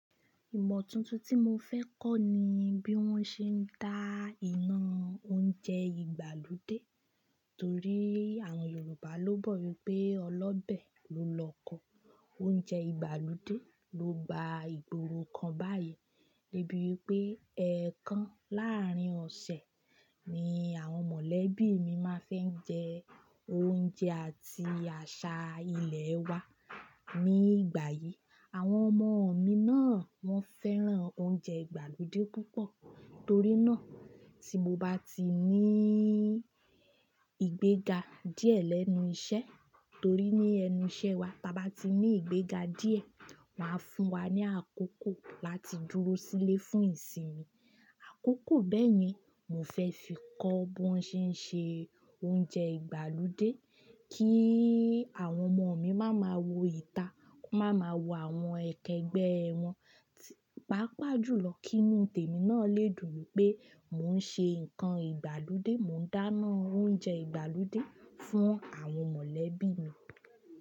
Ìmọ̀ tuntun tí mo fẹ́ kọ́ ni bí wọ́n ṣe ń dá iná oúnjẹ ìgbàlódé. Torí àwọn Yorùbá ló bọ̀ wípé Ọlọ́bẹ̀ ló l'ọkọ oúnjẹ ìgbàlódé, ló gba ìgboro kan báyìí. Débí wípé ẹẹkan láàrin ọ̀sẹ̀ ni àwọn mọ̀lẹ́bí mi máa fẹ́ ń jẹ oúnjẹ àti àṣà ilẹ̀ wa ní ìgbà yí. Àwọn ọmọ mi náà wọ́n fẹ́ràn oúnjẹ ìgbàlódé púpọ̀. Torí náà tí mo bá ti ní ìgbéga díẹ̀ lẹ́nu iṣẹ́, torí ní ẹnu iṣẹ́ wa, tí a bá ti ní ìgbéga díẹ̀, won a fún wa ní àkókò láti dúró sílé fún ìsinmi. Àkókò bẹ́ẹ̀ yẹn, mo fẹ́ fi kọ́ bí wọ́n ṣe ń ṣe oúnjẹ ìgbàlódé kí àwọn ọmọ mi máa ma wò ìta, máa ma wò àwọn ẹkẹgbẹ́ ẹ wọn. Pápa jùlọ kí inù tèmi náà lè dùn wipé mò ń ṣe nǹkan ìgbàlódé, mò ń dáná oúnjẹ ìgbàlódé fún àwọn mọ̀lẹ́bí mi.